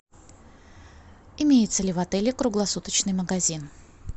имеется ли в отеле круглосуточный магазин